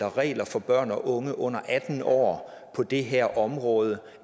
regler for børn og unge under atten år på det her område